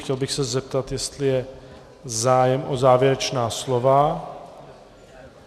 Chtěl bych se zeptat, jestli je zájem o závěrečná slova.